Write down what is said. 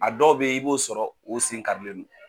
A dɔw bɛ yen i b'o sɔrɔ o sen karilen don